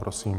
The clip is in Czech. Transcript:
Prosím.